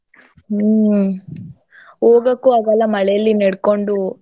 ಹ್ಮ. ಹೋಗಕೂ ಆಗಲ್ಲ ಮಳೇಲಿ ನೆಡ್ಕೊಂಡು.